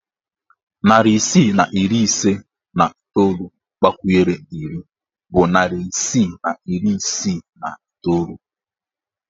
Narị isii na iri ise na iteolu agbakwunyere iri bụ narị isii na iri isii na iteolu